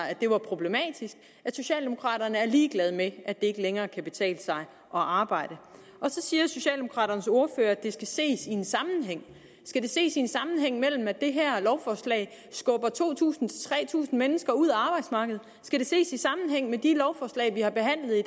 at det var problematisk at socialdemokraterne er ligeglade med at det ikke længere kan betale sig at arbejde så siger socialdemokraternes ordfører at det skal ses i sammenhæng skal det ses i sammenhæng med at det her lovforslag skubber to tusind tre tusind mennesker ud af arbejdsmarkedet skal det ses i sammenhæng med at de lovforslag vi har behandlet i